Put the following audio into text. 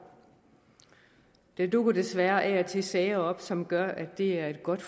der dukker desværre af og til sager op som gør at det er godt